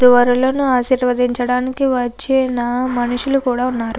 దురాలోను ఆశీర్వదించడానికి వచ్చిన మనషులు కూడా ఉన్నారు.